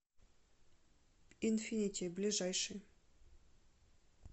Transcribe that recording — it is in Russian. инфинити ближайший